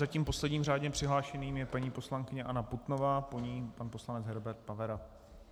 Zatím posledním řádně přihlášeným je paní poslankyně Anna Putnová, po ní pan poslanec Herbert Pavera.